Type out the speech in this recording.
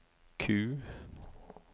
Q